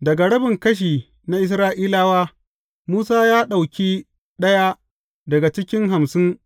Daga rabin kashi na Isra’ilawa, Musa ya ɗauki ɗaya daga cikin hamsin